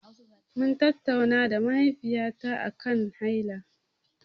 Mun tattauna na mahaifiyata aƙan haila.